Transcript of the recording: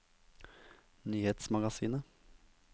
nyhetsmagasinet